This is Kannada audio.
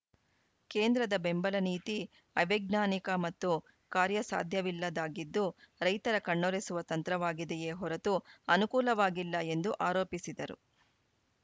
ಕೇಂದ್ರದ ಬೆಂಬಲ ನೀತಿ ಅವೈಜ್ಞಾನಿಕ ಮತ್ತು ಕಾರ್ಯ ಸಾಧ್ಯವಿಲ್ಲದ್ದಾಗಿದ್ದು ರೈತರ ಕಣ್ಣೊರೆಸುವ ತಂತ್ರವಾಗಿದೆಯೇ ಹೊರತು ಅನುಕೂಲವಾಗಿಲ್ಲ ಎಂದು ಆರೋಪಿಸಿದರು